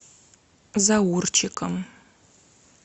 заурчиком